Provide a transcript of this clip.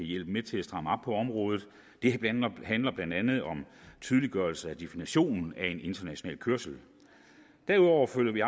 hjælpe med til at stramme op på området det handler blandt andet om tydeliggørelse af definitionen af en international kørsel derudover følger vi